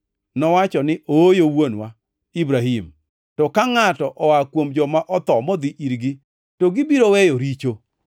“Nowacho ni, ‘Ooyo wuonwa Ibrahim, to ka ngʼato oa kuom joma otho modhi irgi, to gibiro weyo richo.’